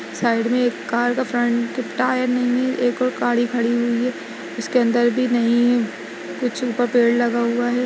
Side में एक car का फ्रंट टायर नहीं है एक और गाडी खड़ी हुई है उसके अंदर भी नहीं है कुछ ऊपर पेड़ लगा हुआ है।